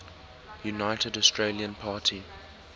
united australia party